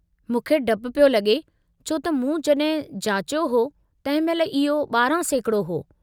मूंखे डपु पियो लॻे छो त मूं जॾहिं जाचियो हो तंहिं महिल इहो 12% हो।